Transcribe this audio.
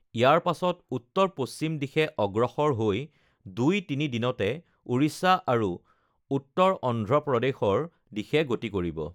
ইয়াৰ পাছত উত্তৰ পশ্চিম দিশে অগ্ৰসৰ হৈ ২-৩ দিনতে ওড়িশা আৰু উত্তৰ অন্ধ্ৰপ্ৰদেশৰ দিশে গতি কৰিব